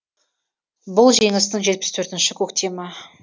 бұл жеңістің жетпіс төртінші көктемі